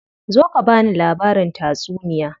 Zo ka bani labarin tatsuniya.